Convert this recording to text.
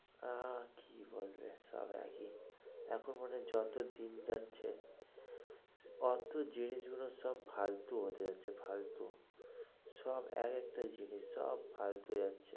আর কি বলবে, সব একই, এখন মনে হয় যত দিন যাচ্ছে, ওতো জিনিস গুলো সব ফালতু হতে যাচ্ছে ফালতু, সব এক একটা জিনিস সব ফালতু হয়ে যাচ্ছে।